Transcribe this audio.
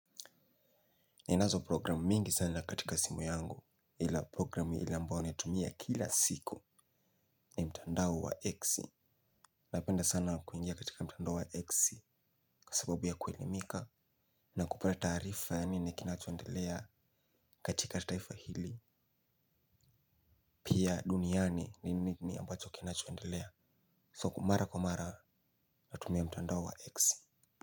Ninazo programu mingi sana katika simu yangu ila programu ile ambao naitumia kila siku ni mtandao wa exe. Napenda sana kuingia katika mtandao wa exe kasababu ya kuelimika. Na kupata taarifa ya nini ni kinachoendelea katika taifa hili. Pia duniani ni nini ambacho kinachoendelea So mara kwa mara natumia mtandao wa exe.